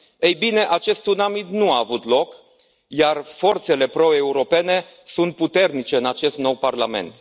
Ei bine, acest tsunami nu a avut loc, iar forțele proeuropene sunt puternice în acest nou Parlament.